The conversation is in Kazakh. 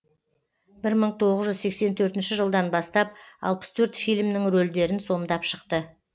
мың тоғыз жүз сексен төртінші жылдан бастап алпыс төрт фильмнің рөлдерін сомдап шықты